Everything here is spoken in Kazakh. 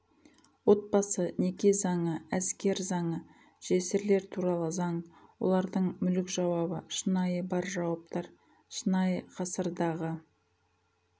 отбасы неке заңы әскер заңы жесірлер туралы заң олардың мүлік жауабы шынайы бар жауаптар шынайы ғасырдағы